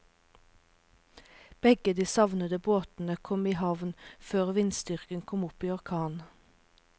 Begge de savnede båtene kom i havn før vindstyrken kom opp i orkan.